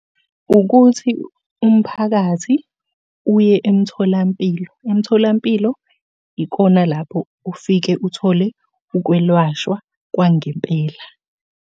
Ukuthi umphakathi uye emtholampilo, emtholampilo ikona lapho ofike uthole ukwelashwa kwangempela.